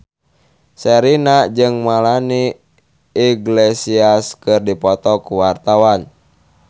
Sherina jeung Melanie Iglesias keur dipoto ku wartawan